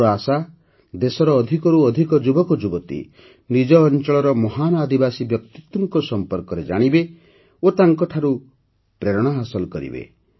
ମୋର ଆଶା ଯେ ଦେଶର ଅଧିକରୁ ଅଧିକ ଯୁବକ ଯୁବତୀ ନିଜ ଅଞ୍ଚଳର ମହାନ ଆଦିବାସୀ ବ୍ୟକ୍ତିତ୍ୱଙ୍କ ସମ୍ପର୍କରେ ଜାଣିବେ ଓ ତାଙ୍କଠାରୁ ପ୍ରେରଣା ହାସଲ କରିବେ